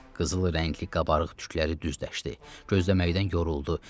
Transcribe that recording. Qızılı rəngli qabarıq tükləri düzləşdi, gözləməkdən yoruldu.